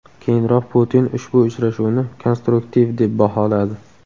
Keyinroq Putin ushbu uchrashuvni konstruktiv deb baholadi .